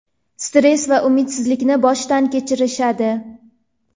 stress va umidsizlikni boshdan kechirishadi.